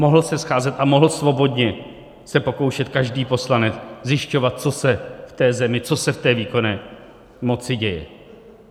Mohl se scházet a mohl svobodně se pokoušet každý poslanec zjišťovat, co se v té zemi, co se v té výkonné moci děje.